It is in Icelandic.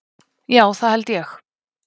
Já það held ég!